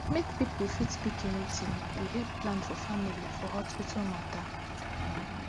make people fit pick anything dey help plan for family for hospital mata